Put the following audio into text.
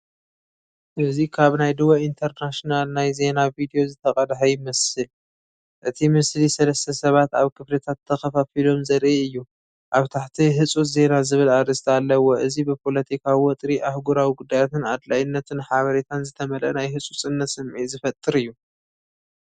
እዚ ካብ ናይ ድወ ኢንተርናኝናል ናይ ዜና ቪድዮ ዝተቐድሐ ይመስል። እቲ ምስሊ ሰለስተ ሰባት ኣብ ክፍልታት ተኸፋፊሎም ዘርኢ እዩ። ኣብ ታሕቲ፡"ህጹጽ ዜና" ዝብል ኣርእስቲ ኣለዎ። እዚ ብፖለቲካዊ ወጥሪ፡ ኣህጉራዊ ጉዳያትን ኣድላይነት ሓበሬታን ዝተመልአ ናይ ህጹጽነት ስምዒት ዝፈጥር እዩ።